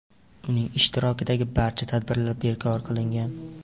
Uning ishtirokidagi barcha tadbirlar bekor qilingan.